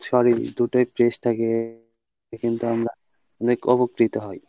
শরীল দুটোই fresh থাকে কিন্তু আমরা অনেক উপকৃত হই।